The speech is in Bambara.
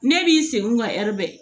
Ne b'i senkun ŋa bɛɛ